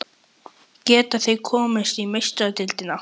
Geta þeir komist í Meistaradeildina?